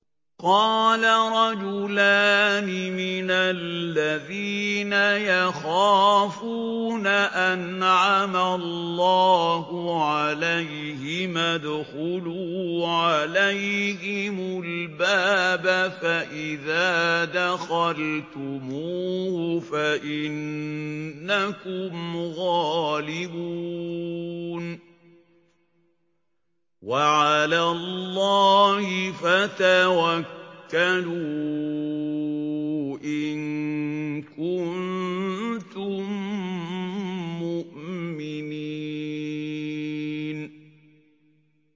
قَالَ رَجُلَانِ مِنَ الَّذِينَ يَخَافُونَ أَنْعَمَ اللَّهُ عَلَيْهِمَا ادْخُلُوا عَلَيْهِمُ الْبَابَ فَإِذَا دَخَلْتُمُوهُ فَإِنَّكُمْ غَالِبُونَ ۚ وَعَلَى اللَّهِ فَتَوَكَّلُوا إِن كُنتُم مُّؤْمِنِينَ